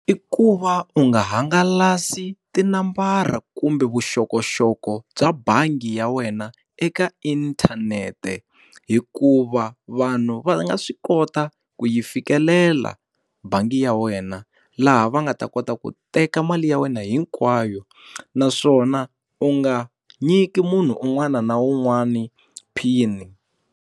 I ku va u nga hangalasi tinambara kumbe vuxokoxoko bya bangi ya wena eka inthanete hikuva vanhu va nga swi kota ku yi yi fikelela bangi ya wena, laha va nga ta kota ku teka mali ya wena hinkwayo naswona u nga nyiki munhu un'wana na un'wana PIN-i.